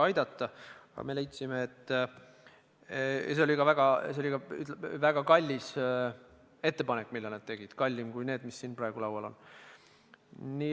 Aga see oli ka väga kallis ettepanek, mille nad tegid – kallim kui need, mis siin praegu laual on.